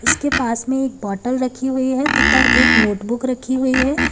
इसके पास में एक बॉटल रखी हुई है तथा एक नोटबुक रखी हुई है।